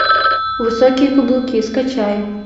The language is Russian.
высокие каблуки скачай